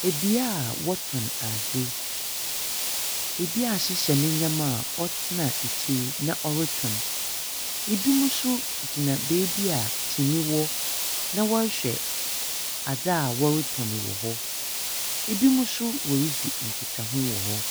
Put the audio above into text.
Ɛbea a ɔɔtɔn ade ebi ahyehyɛ ne nneɛma a ɔtena akyiri na ɔretɔn ebi mo so gyina baabi a kyiniyɛ wɔ na wɔrehwɛ ade a wɔretɔn wɔ hɔ ebinom so ɔredi nkita ho wɔ hɔ.